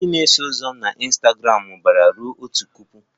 Ndị na-eso ụzọ m na Ịnstagramụ mụbara ruo otu puku